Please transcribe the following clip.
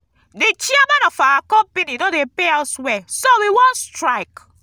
the chairman of our company no dey pay us well so we wan strike